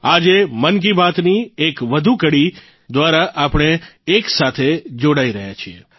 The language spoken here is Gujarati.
આજે મન કી બાતની એક વધુ કડી દ્વારા આપણે એક સાથે જોડાઇ રહ્યા છીએ